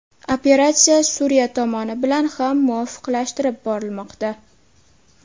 Operatsiya Suriya tomoni bilan ham muvofiqlashtirib borilmoqda.